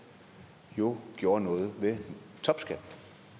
gjorde noget ved topskatten